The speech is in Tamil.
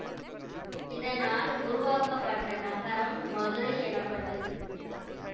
இதனால் உருவாக்கப்பட்ட நகரம் மதுரை எனப்பட்டது